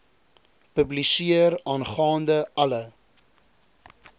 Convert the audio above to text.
publiseer aangaande alle